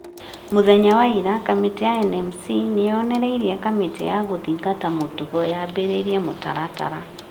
Mũthenya wa ira kamĩtĩ ya NMC nĩ yonereirie kamĩtĩ ya gũthingata mũtugo yambĩrĩrie mũtaratara ,